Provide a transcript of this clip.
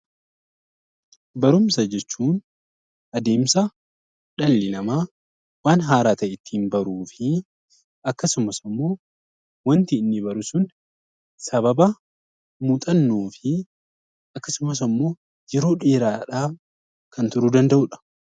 Barumsa jechuun adeemsa dhalli namaa waan haaraa ta'e ittiin baruufi akkasumas immoo waanti inni baru sun sababa muuxannoofi akkasumas ammoo yeroo dheeraadhaan kan turuu danda'udha